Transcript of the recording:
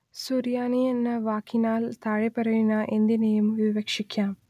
സുറിയാനി എന്ന വാക്കിനാൽ താഴെപ്പറയുന്ന എന്തിനേയും വിവക്ഷിക്കാം